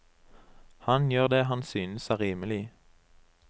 Han gjør det han synes er rimelig.